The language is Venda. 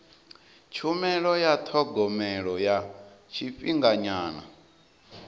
tshumelo ya thogomelo ya tshifhinganyana